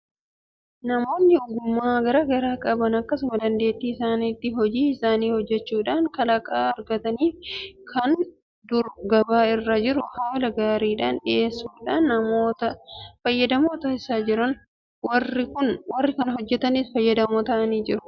Namoonni ogummaa garaa garaa qaban akkuma dandeettii isaaniitti hojii isaanii hojjechuudhaan kalaqa argataniifi kan dur gabaa irra jiru haala gaariidhaan dhiyeessuudhaan namoota fayyadamoo taasisaa jiru. Warri kana hojjetanis fayyadamoo ta'aa jiru. Kanaaf dandeettii ofiitti fayyadamuun jireenya mo'atanii akka jiraatan nama gargaara.